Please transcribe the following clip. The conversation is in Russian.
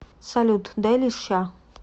салют дай леща